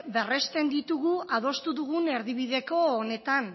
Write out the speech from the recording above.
berresten ditugu adostu dugun erdibideko honetan